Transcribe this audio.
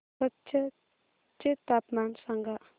कच्छ चे तापमान सांगा